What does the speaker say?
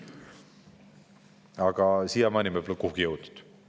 Aga siiamaani me pole kuhugi jõudnud.